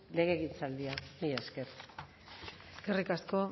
legegintzaldia mila esker eskerrik asko